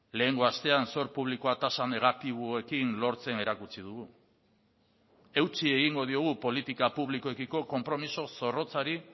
lehengo astean sor publikoa tasa negatiboekin lortzen erakutsi dugu eutsi egingo diogu politika publikoekiko konpromiso zorrotzari